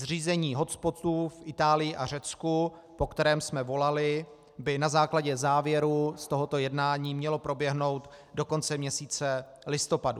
Zřízení hotspotů v Itálii a Řecku, po kterém jsme volali, by na základě závěrů z tohoto jednání mělo proběhnout do konce měsíce listopadu.